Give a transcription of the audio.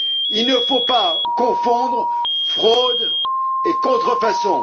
Il ne faut pas confondre fraude et contrefaçon.